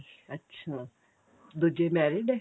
ਅੱਛਾ ਦੁੱਜੇ married ਹੈ